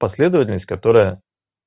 последовательность которая